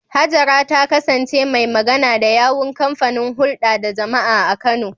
Hajara ta kasance mai magana da yawun kamfanin hulda da jama’a a Kano.